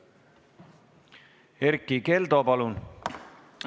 Erkki Keldo, palun!